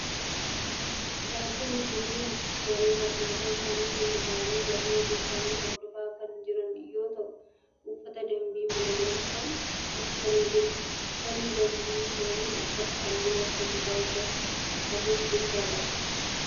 Barattoonni kunneen daree barnootaa isaanii keessa ta'aanii barnoota isaanii hordofaa kan jiran yoo ta'u uffata dambii mana baruumsaa uffatanii jiru. Uffanni dambii isaan uffatan halluu akka gurraacha fi adii of keessaa qaba.